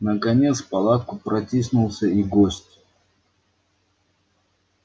наконец в палатку протиснулся и гость